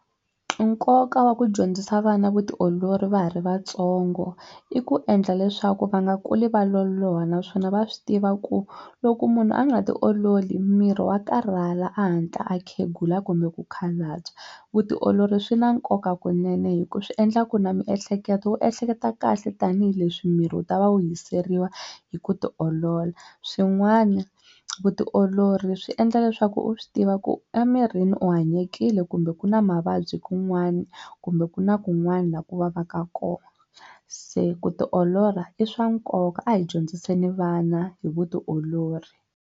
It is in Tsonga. Nkoka wa ku dyondzisa vana vutiolori va ha ri vatsongo i ku endla leswaku va nga kuli va loloha naswona va swi tiva ku loko munhu a nga ti ololi miri wa karhala a hatla a khegula kumbe ku khalabya vutiolori swi na nkoka kunene hi ku swi endla ku na miehleketo wu ehleketa kahle tanihileswi miri wu ta va wu hiseriwa hi ku tiolola swin'wana vutiolori swi endla leswaku u swi tiva ku emirini u hanyekile kumbe ku na mavabyi kun'wana kumbe ku na kun'wana laha ku vavaka kona se ku ti olola i swa nkoka a hi dyondziseni vana hi vutiolori.